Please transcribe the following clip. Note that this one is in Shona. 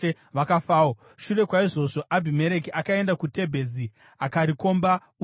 Shure kwaizvozvo Abhimereki akaenda kuTebhezi akarikomba uye akaritapa.